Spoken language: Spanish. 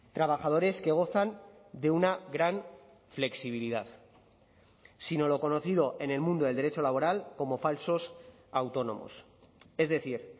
trabajadores que gozan de una gran flexibilidad sino lo conocido en el mundo del derecho laboral como falsos autónomos es decir